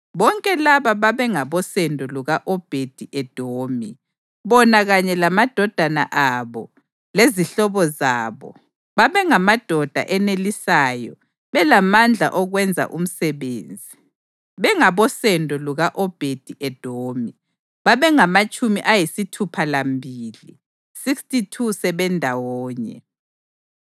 Bonke laba babengabosendo luka-Obhedi-Edomi; bona kanye lamadodana abo lezihlobo zabo babengamadoda enelisayo belamandla okwenza umsebenzi, bengabosendo luka-Obhedi-Edomi, babengamatshumi ayisithupha lambili (62) sebendawonye.